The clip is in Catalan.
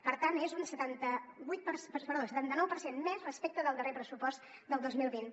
per tant és un setanta nou per cent més respecte del darrer pressupost del dos mil vint